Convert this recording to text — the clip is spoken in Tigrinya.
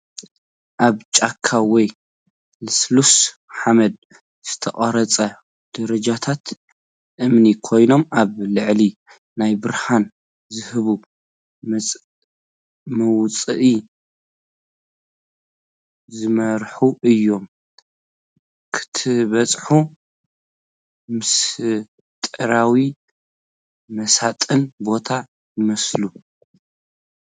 ኣብ ጭቃ ወይ ልስሉስ ሓመድ ዝተቐርጹ ደረጃታት እምኒ ኮይኖም፡ ኣብ ላዕሊ ናብ ብርሃን ዝህብ መውጽኢ ዝመርሑ እዮም። ክትበጽሖ ምስጢራውን መሳጥን ቦታ ይመስል!